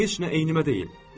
Heç nə ennimə deyil.